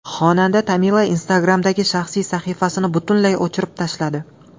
Xonanda Tamila Instagram’dagi shaxsiy sahifasini butunlay o‘chirib tashladi.